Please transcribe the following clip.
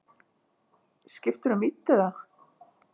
Skiptirðu um vídd eða?